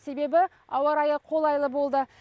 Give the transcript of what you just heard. себебі ауа райы қолайлы болды